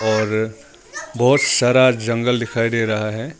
और बहुत सारा जंगल दिखाई दे रहा है।